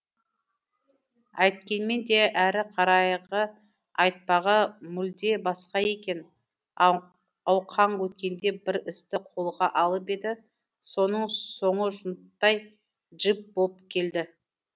әйткенмен де әріқарайғы айтпағы мүлде басқа екен ауқаң өткенде бір істі қолға алып еді соның соңы жұныттай джип болып келді